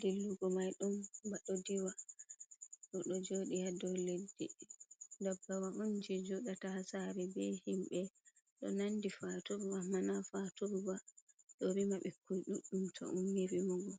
dillugo mai ɗum baɗo diwa. Odo joɗi ha dow leddi. Dabbawa on je joɗata ha sare be himɓe. Ɗo nandi faturu amma na faturu ba. Ɗo rima ɓikkon ɗuɗɗum to ummi rimugo.